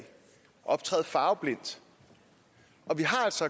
optræde farveblindt og vi har altså